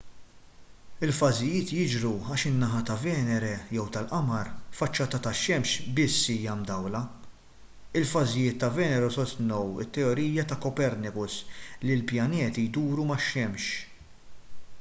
il-fażijiet jiġru għax in-naħa ta’ venere jew tal-qamar faċċata tax-xemx biss hija mdawla. il-fażijiet ta’ venere sostnew it-teorija ta’ copernicus li l-pjaneti jduru max-xemx